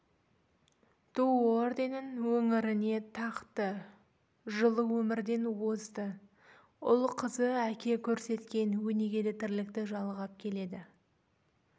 ту орденін өңіріне тақты жылы өмірден озды ұл қызы әке көрсеткен өнегелі тірлікті жалғап келеді